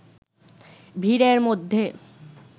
ভিড়ের মধ্যে